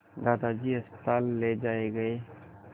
दादाजी अस्पताल ले जाए गए